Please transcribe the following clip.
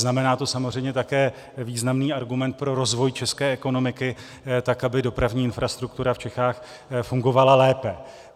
Znamená to samozřejmě také významný argument pro rozvoj české ekonomiky tak, aby dopravní infrastruktura v Čechách fungovala lépe.